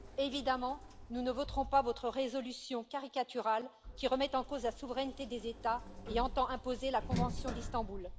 Évidemment, nous ne voterons pas votre résolution caricaturale, qui remet en cause la souveraineté des États et entend imposer la convention d'Istanbul.